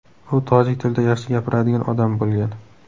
U tojik tilida yaxshi gapiradigan odam bo‘lgan.